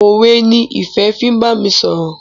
òwe ni Ìfẹ fín bámi sọrọ.